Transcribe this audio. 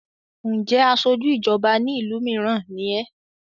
ǹjẹ́ asojú ìjọba ní ìlú mìíràn ni ẹ́?